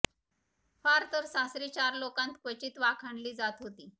फार तर सासरी चार लोकांत क्वचित वाखाणली जात होती